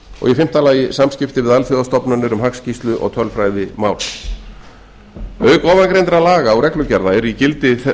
fjórða vísitölur fimmta samskipti við alþjóðastofnanir um hagskýrslu og tölfræðimál auk ofangreindra laga og reglugerða eru í gildi